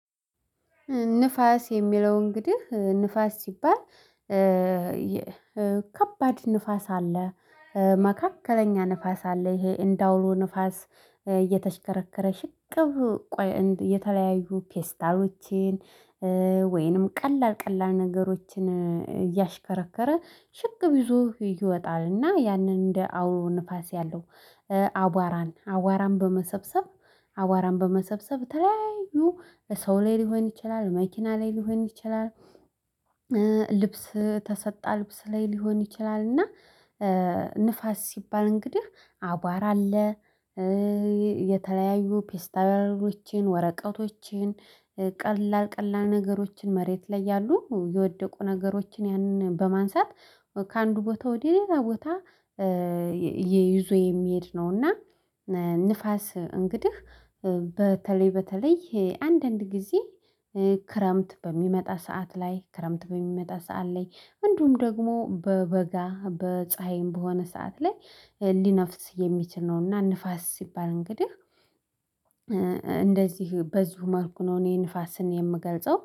ንፋስ የሚለው እንግዲህ ንፋስ ሲባል ከባድ ንፋስ አለ። መካከለኛ ንፋስ አለ ይሄ እንደ አውሎ ንፋስ እየተሽከረከረ ሽቅብ ቆይ የተለያዩ ፔስታሎችን። ወይንም ቀላል ቀላል ነገሮችን እያሽከረከረ ሽቅብ ይዞ ይወጣልና ያንን እንደ አውሎ ንፋስ ያለው አቧራን አዋራን በመሰብሰብ አዋራን በመሰብሰብ ተለያዩ ሰው ላይ ሊሆን ይችላል መኪና ላይ ሊሆን ይችላል። ልብስ ተሰጣ ልብስ ላይ ሊሆን ይችላል እና ንፋስ ሲባል እንግዲህ አቧራ አለ። የተለያዩ ፔስታሎችን ወረቀቶችን ቀላል ቀላል ነገሮችን መሬት ላይ ያሉ የወደቁ ነገሮችን ያንን በማንሳት ከአንዱ ቦታ ወደ ሌላ ቦታ ይዞ የሚሄድ ነውና። ንፋስ እንግዲህ በተለይ በተለይ አንዳንድ ጊዜ ክረምት በሚመጣ ሰዓት ላይ ክረምት በሚመጣ ሰዓት ላይ እንዲሁም ደግሞ በበጋ በፀሀይም በሆነ ሰዓት ላይ ሊነፍስ የሚችል ነው። እና ንፋስ ሲባል እንግዲህ እንደዚህ በዚሁ መልኩ ነው እኔ ንፋስን የምገልጸው